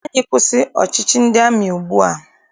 Ka anyị kwụsị ọchịchị ndị amị ugbua!